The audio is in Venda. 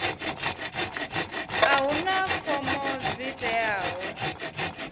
a huna fomo dzi teaho